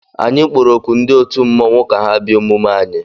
Anyị kpọrọ oku ndị otu mmọnwụ ka ha bịa emume anyị.